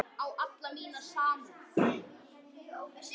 Við munum sjá hvar við endum.